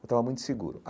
Eu estava muito seguro.